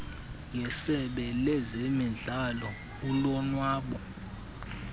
ngesebe lezemidlalo ulonwabo